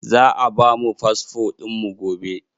Za a ba mu fasfo ɗin mu gobe.